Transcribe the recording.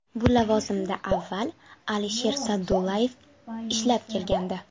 Bu lavozimda avval Alisher Sa’dullayev ishlab kelgandi.